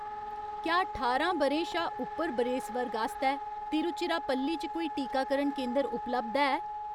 क्या ठारां ब'रें शा उप्पर बरेस वर्ग आस्तै तिरुचिरापल्ली च कोई टीकाकरण केंदर उपलब्ध है ?